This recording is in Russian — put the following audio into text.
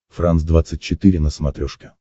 франс двадцать четыре на смотрешке